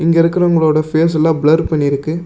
இங்க இருக்கிறவங்களோட ஃபேஷ் எல்லா ப்ளர் பண்ணிருக்கு.